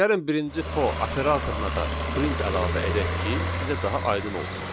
Gəlin birinci for operatoruna da print əlavə edək ki, sizə daha aydın olsun.